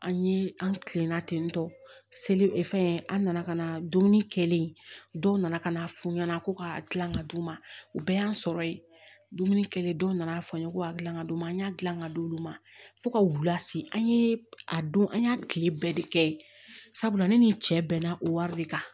An ye an kilenna ten tɔ seli fɛn an nana ka na dumuni kɛlen kɛlen dɔw nana ka na f'u ɲɛna ko ka gilan ka di u ma u bɛɛ y'an sɔrɔ yen dumuni kɛlen dɔw nana fɔ n ye ko a gilan ka d'u ma an y'a gilan ka d'olu ma fo ka wula se an ye a don an y'a tile bɛɛ de kɛ sabula ne ni n cɛ bɛnna o wari de kan